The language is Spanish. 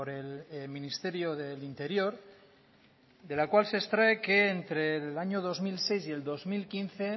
el ministerio del interior de la cual se extrae que entre el año dos mil seis y el dos mil quince